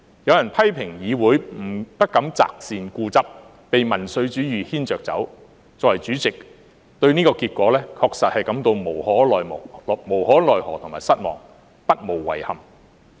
有人批評議會不敢擇善固執，被民粹主義牽着走，作為主席，對這個結果確實感到無可奈可和失望，不無遺憾。